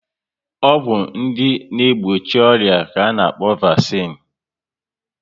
Ọgwụ ndị na egbochi ọrịa ka ana-akpọ vasine